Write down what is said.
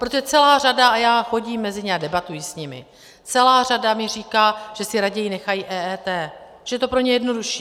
Protože celá řada - a já chodím mezi ně a debatuji s nimi - celá řada mi říká, že si raději nechají EET, že je to pro ně jednodušší.